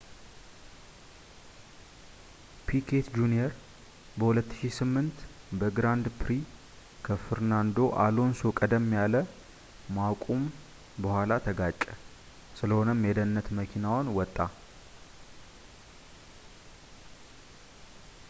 ፒኬት ጁንየር በ2008 በግራንድ ፕሪ ከፈርናንዶ አሎንሶ ቀደም ያለ ማቁም በኋላ ተጋጨ ስለሆነም የደህንነት መኪናውን ወጣ